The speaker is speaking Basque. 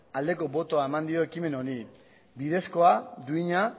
aldeko botoa eman dio ekimen honi bidezkoa duina